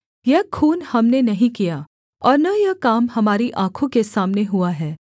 यह खून हमने नहीं किया और न यह काम हमारी आँखों के सामने हुआ है